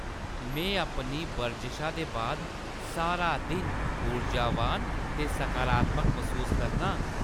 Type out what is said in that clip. में अपनी बरजशा दे बाद सारा दिन ऊर्जावान ते सकारात्मक मसूस करना आं।